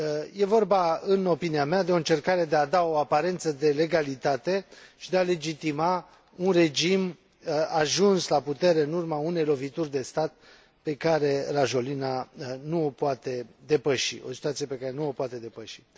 E vorba, în opinia mea, de o încercare de a da o aparență de legalitate și de a legitima un regim ajuns la putere în urma unei lovituri de stat, pe care Rajoelina nu o poate depăși.